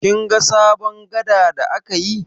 Kin ga sabon gada da aka yi?